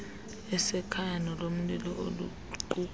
asekhaya nolomlilo oluquka